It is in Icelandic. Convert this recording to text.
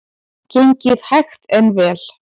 Gengið hægt en vel